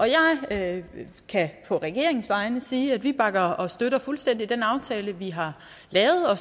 jeg kan kan på regeringens vegne sige at vi bakker og støtter fuldstændig den aftale vi har lavet og